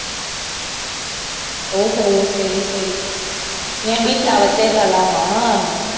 ஓஹோ சரி சரி